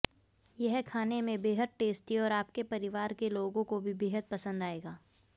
यह खाने में बेहद टेस्टी और अापके परिवार के लाेगाें काे भी बेहद पसंद अाएगा